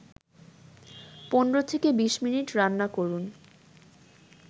১৫-২০ minute রান্না করুন